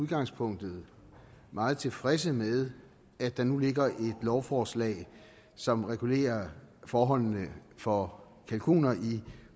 udgangspunktet meget tilfredse med at der nu ligger et lovforslag som regulerer forholdene for kalkuner i